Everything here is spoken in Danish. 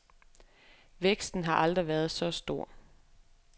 Væksten har aldrig været så stor.